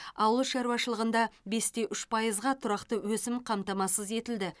ауыл шаруашылығында бес те үш пайызға тұрақты өсім қамтамасыз етілді